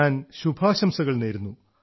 ഞാൻ ശുഭാശംസകൾ നേരുന്നു